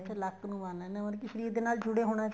ਅੱਛਾ ਲੱਕ ਨੂੰ ਬੰਨ ਲੈਣੇ ਹੋ ਮਤਲਬ ਕੀ ਸ਼ਰੀਰ ਦੇ ਨਾਲ ਜੁੜੇ ਹੋਣੇ